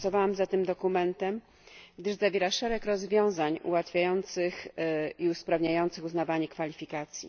Głosowałam za tym dokumentem, gdyż zawiera szereg rozwiązań ułatwiających i usprawniających uznawanie kwalifikacji.